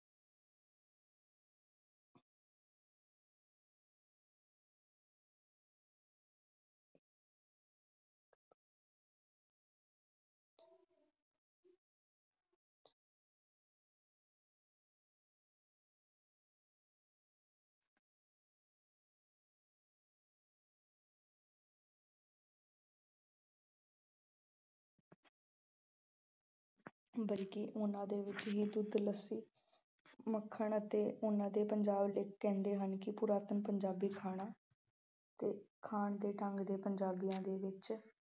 ਬਲਕਿ ਉਨ੍ਹਾ ਦੇ ਵਿੱਚ ਹੀ ਦੁੱਧ, ਲੱਸੀ, ਮੱਖਣ ਅਤੇ ਉਹਨਾ ਦੇ ਪੰਜਾਬ ਵਿੱਚ ਕਹਿੰਦੇ ਹਨ ਕਿ ਪੁਰਾਤਨ ਪੰਜਾਬੀ ਖਾਣਾ ਅਤੇ ਖਾਣ ਦੇ ਢੰਗ ਦੇ ਪੰਜਾਬੀਆਂ ਦੇ ਵਿੱਚ